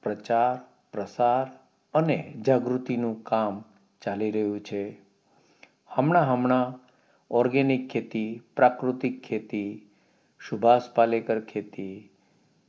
જાગૃતિનું કામ ચાલી રહ્યું છે હમણાં હમણાં organic ખેતી પ્રાકૃતિક ખેતી સુંઘષતાલેકાર ખેતી ગોપાલ